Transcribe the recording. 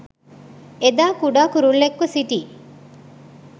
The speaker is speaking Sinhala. එදා කුඩා කුරුල්ලෙක්ව සිටි